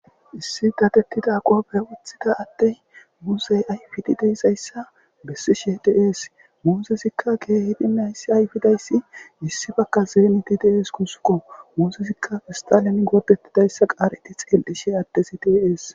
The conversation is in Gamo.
Issi datettida qoofe uthida attey muusey ayfidi deizayssa bessishe diees. Muuzesikka keehidi mayssi ayfidayssi issi bakka zeemiti dees kusqo. Muuzesikka kistalemi goopettidayssa qaareti xel'ishe attesi tiiees.